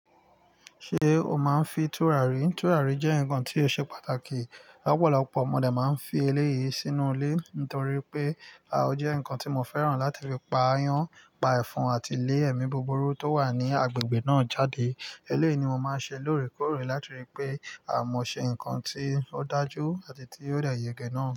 Ṣé o máa ń fi tùràrí? Tùràrí jẹ́ ǹkan tí ó ṣe pàtàkì. Ọ̀pọ̀lọpọ̀ mọ dé máa ń fi eléyìí sínú ilé torí pé, ò jẹ́ ǹkan tí mo fẹ́ràn láti fi pa ayan, pa ẹ̀fọn àti lé ẹ̀mí búburú tó wà ní agbègbè náà jáde. Eléyìí ni mo máa ń ṣe lóòrèkóòrè láti ri pé mo ṣe ǹkan tí ó dájú àti tí ó dẹ̀ yè gẹ́ náà.